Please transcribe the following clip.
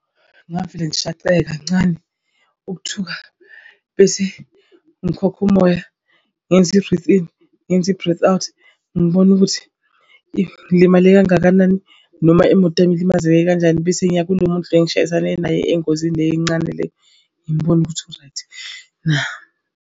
Ngingavele ngishaqeke kancane ukuthuka bese ngikhokha umoya ngenze i-breath in ngenze i-breath out ngibone ukuthi ngilimale kangakanani. Noma imoto yami ilimazeke kanjani bese ngiya kulo muntu lo engishayisane naye engozini le encane leyo, ngibone ukuthi right na.